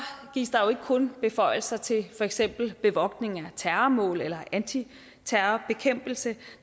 gives der jo ikke kun beføjelser til for eksempel bevogtning af terrormål eller antiterrorbekæmpelse